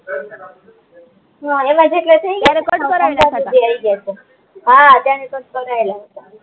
હા ત્યારે કટ કરાયેલા હતા